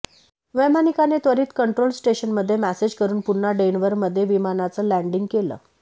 वैमानिकाने त्वरित कंट्रोल स्टेशनमध्ये मेसेज करून पुन्हा डेनवरमध्ये विमानाचं लँडिंग केलं